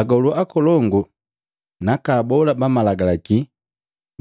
Agolu akolongu naka abola ba Malagalaki